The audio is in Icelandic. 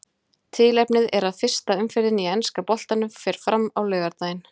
Tilefnið er að fyrsta umferðin í enska boltanum fer fram á laugardaginn.